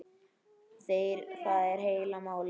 Það er heila málið!